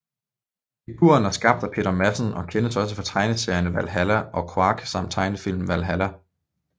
Figuren er skabt af Peter Madsen og kendes også fra tegneserierne Valhalla og Quark samt tegnefilmen Valhalla